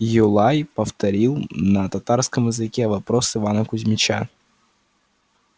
юлай повторил на татарском языке вопрос ивана кузьмича